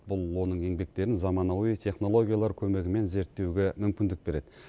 бұл оның еңбектерін заманауи технологиялар көмегімен зерттеуге мүмкіндік береді